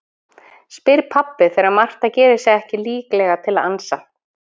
spyr pabbi þegar Marta gerir sig ekki líklega til að ansa.